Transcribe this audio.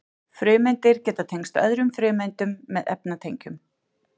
frumeindir geta tengst öðrum frumeindum með efnatengjum